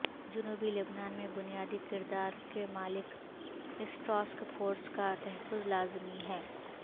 جنوبی لبنان میں بنیادی کردار کی مالک اس ٹاسک فورس کا تحفظ لازمی ہے